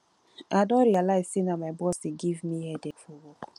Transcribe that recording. i don realize say na my boss dey give me headache for work